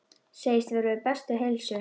Segist vera við bestu heilsu.